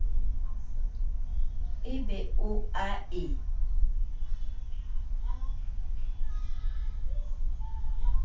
e be o a e